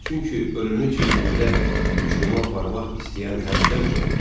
Çünki ölünü çiynində uçuruma aparmaq istəyən həddən çox idi.